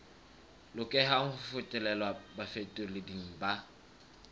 lokelang ho fetolelwa bafetoleding ba